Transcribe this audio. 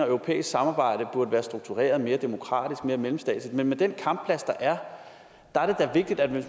europæisk samarbejde burde være struktureret altså mere demokratisk mere mellemstatsligt men den kampplads der er